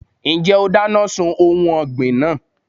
Ǹjẹ́ o dáná sun ohun ọ̀gbìn náà?